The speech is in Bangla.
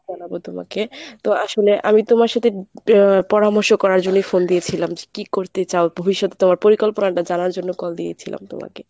জানাবো তোমাকে, তো আসলে আমি তোমার সাথে আ পরামর্শ করার জন্যই phone দিয়েছিলাম কী করতে চাও? ভবিষ্যতে তোমার পরিকল্পনাটা জানার জন্য call দিয়েছিলাম তোমাকে।